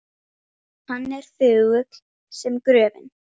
Hann er þögull sem gröfin.